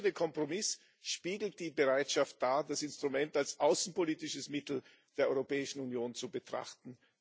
Der gefundene Kompromiss spiegelt die Bereitschaft wider, das Instrument als außenpolitisches Mittel der Europäischen Union zu betrachten.